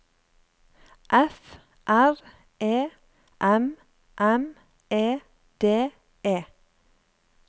F R E M M E D E